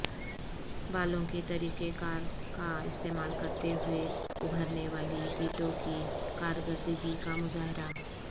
بالوں کے طریقہ کار کا استعمال کرتے ہوئے ابھرنے والی ٹیٹو کی کارکردگی کا مظاہرہ